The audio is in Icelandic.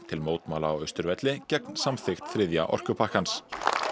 til mótmæla á Austurvelli gegn samþykkt þriðja orkupakkans